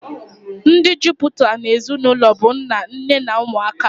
Ndi jụpụtara na-ezinaụlọ bụ nna, nne na ụmụaka